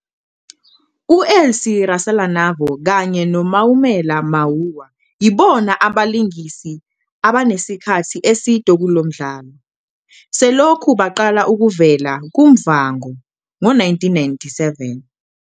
U-Elsie Rasalanavho kanye no-Maumela Mahuwa yibona abalingisi asebenesikhathi eside kulo mdlalo. Selokhu baqala ukuvela kuMuvhango ngo-1997.